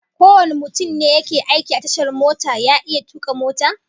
Kowane mutum ne yake aiki a tashar mota ya iya tuka mota?